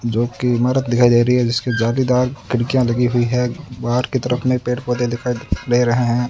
जोकि इमारत दिखाई दे रही है जिसके जालीदार खिड़कियां लगी हुई है बाहर की तरफ में पेड़ पौधे दिखाई दे रहे हैं।